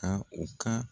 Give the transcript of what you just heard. Ka u ka